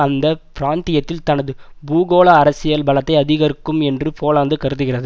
அந்த பிராந்தியத்தில் தனது பூகோள அரசியல் பலத்தை அதிகரிக்கும் என்று போலந்து கருதுகிறது